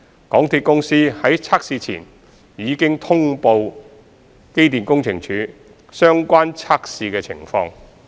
港鐵公司在測試前已通報機電署相關測試情況。